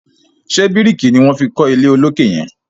ṣe biriki ní wón fí kò ilé olokè yen?